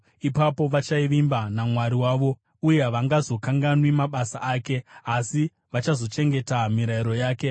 Ipapo vachavimba naMwari wavo uye havangazokanganwi mabasa ake asi vachazochengeta mirayiro yake.